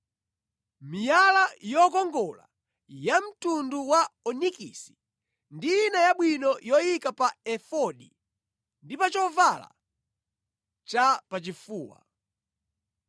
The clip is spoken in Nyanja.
miyala yokongola ya mtundu wa onikisi ndi ina yabwino yoyika pa Efodi ndi pa chovala cha pachifuwa.